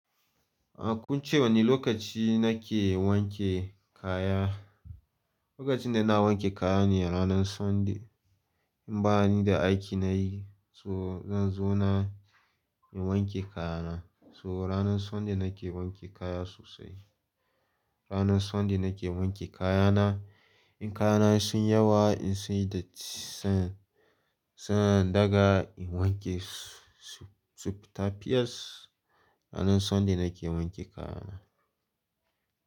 Ba kunce wane lokaci na ke wanke kaya? Lokacin da ina wanke kaya ne ranan Sunday. In bani da aiki na yi, so zan zo na in wanke kaya na. So ranan Sunday na ke wanke kaya sosai. Ranan Sunday na ke wanke kaya na. In kaya na sun yawa, in sunyi datti sai, sai in daga in wankesu sufitafiyas. Ranan Sunday na ke wanke kaya na.